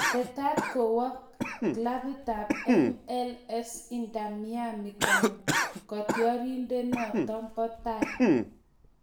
Tetat kowo klabitab MLS Inter Miami kotioriendenoto bo tai